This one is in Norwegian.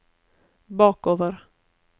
bakover